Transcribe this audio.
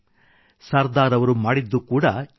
ಸರ್ದಾರ್ ಅವರು ಮಾಡಿದ್ದು ಕೂಡಾ ಇದನ್ನೇ